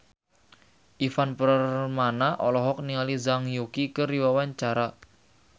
Ivan Permana olohok ningali Zhang Yuqi keur diwawancara